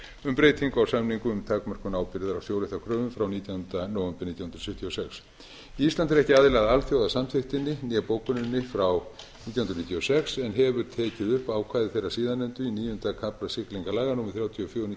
um breytingu á samningnum um takmörkun ábyrgðar á sjóréttarkröfum frá nítjánda nóvember nítján hundruð sjötíu og sex ísland er ekki aðili að alþjóðasamþykktinni né bókuninni frá nítján hundruð níutíu og sex en hefur tekið upp ákvæði þeirrar síðarnefndu í níunda kafla siglingalaga númer þrjátíu og fjögur nítján